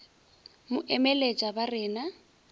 mo emeletša ba re na